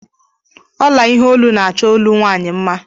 Ọla ihe ọlụ na-achọ ọlụ nwaanyị mma.